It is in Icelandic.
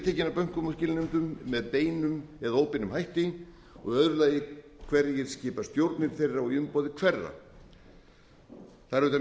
af bönkum og skilanefndum með beinum eða óbeinum hætti og í öðru lagi hverjir skipa stjórnir þeirra og í umboði hverra það er auðvitað